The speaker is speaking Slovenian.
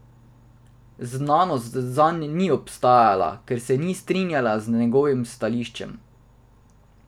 Znanost zanj ni obstajala, ker se ni strinjala z njegovim stališčem.